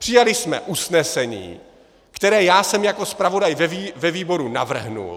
Přijali jsme usnesení, které já jsem jako zpravodaj ve výboru navrhl.